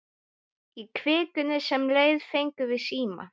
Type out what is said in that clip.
Í vikunni sem leið fengum við síma.